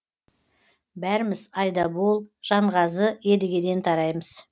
бәріміз айдабол жанғазы едігеден тараймыз